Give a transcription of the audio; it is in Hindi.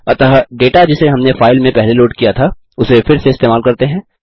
अतः डेटा जिसे हमने फाइल में पहले लोड किया था उसे फिर से इस्तेमाल करते हैं